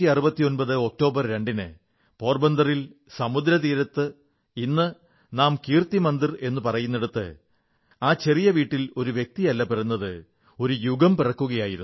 1869 October 2 ന് പോർബന്ദറിൽ സമുദ്രതീരത്ത് ഇന്ന് നാം കീർത്തി മന്ദിർ എന്നു പറയുന്നിടത്ത് ആ ചെറിയ വീട്ടിൽ ഒരു വ്യക്തിയല്ല പിറന്നത് ഒരു യുഗം പിറക്കുകയായിരുന്നു